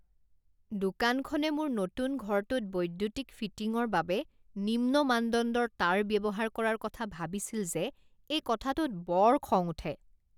দোকানখনে মোৰ নতুন ঘৰটোত বৈদ্যুতিক ফিটিঙৰ বাবে নিম্ন মানদণ্ডৰ তাঁৰ ব্যৱহাৰ কৰাৰ কথা ভাবিছিল যে এই কথাটোত বৰ খং উঠে।